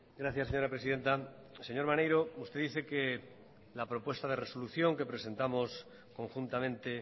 gracias señora presidenta señor maneiro usted dice que la propuesta de resolución que presentamos conjuntamente